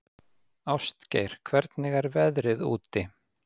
Ástgeir, hvernig er veðrið úti?